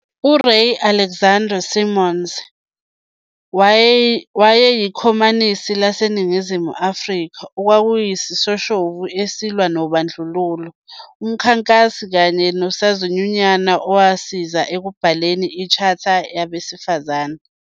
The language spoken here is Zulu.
URay Alexander Simons wayeyiKhomanisi, laseNingizimu Afrika, okwakuyisishoshovu esilwa nobandlululo, umkhankasi kanye unosozinyunyana owasiza ekubhaleni i-Charter yabesifazane.